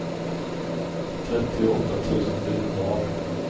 trettioåtta tusen fyrahundraarton